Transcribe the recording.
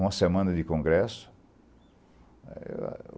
Uma semana de congresso.